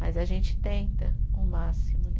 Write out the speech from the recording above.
Mas a gente tenta o máximo, né?